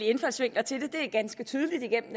indfaldsvinkler til det det er ganske tydeligt igennem